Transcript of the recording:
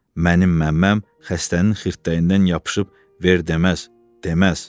Mənim Məmməm xəstənin xirtdəyindən yapışıb ver deməz, deməz.